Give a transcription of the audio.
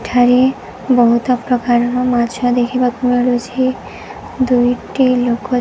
ଏଠାରେ ବହୁତ ପ୍ରକାର ର ର ମାଛ ଦେଖିବାକୁ ମିଳୁଛି ଦୁଇ ଟି ଲୋକ --